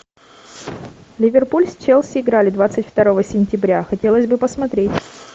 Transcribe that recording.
ливерпуль с челси играли двадцать второго сентября хотелось бы посмотреть